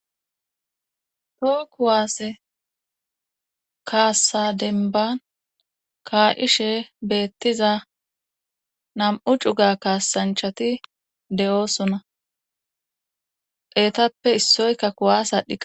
Po kuwaasse kaassa denban kaa7ishe beettiza nam7u cuga kaasanchati de7oosuna pheetappe issoyka kuwaas adhi.